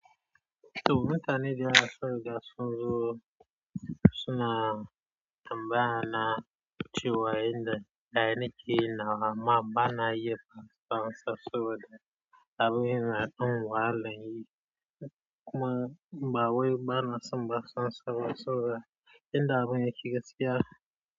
To mutane da yawa sun riga sun zo suna tambaya na cewa in da ɗa na ki yinnawa ama bana yi, ban san sa saboda abin na don wa laƴi. Kuma bawai bana san basan su bane inda abin yake gaskiya.